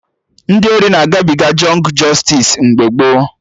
Ndị ori na-agabiga jọngụ jọstis mgbe gboo